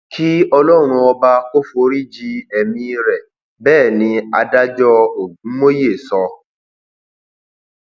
kí ọlọrun ọba kò forí ji ẹmí rẹ bẹẹ ni adájọ ogúnmóye sọ